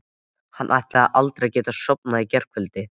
Hann ætlaði aldrei að geta sofnað í gærkvöldi.